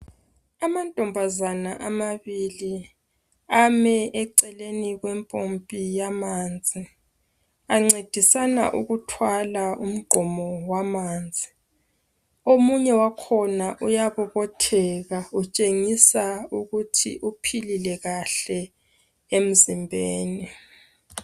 Amantombazana amabili ami eceleni kwempompi yamanzi, ancedisana ukuthwala umgqomo wamanzi. Omunye wakhona uyabobotheka utshengisa ukuthi uphilile kahle emzimbeni.